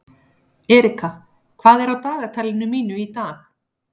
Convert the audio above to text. Erika, hvað er á dagatalinu mínu í dag?